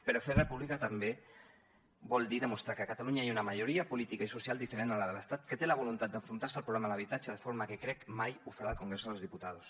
però fer república també vol dir demostrar que a catalunya hi ha una majoria política i social diferent a la de l’estat que té la voluntat d’enfrontar se al problema de l’habitatge de forma que crec que mai ho farà el congreso de los diputados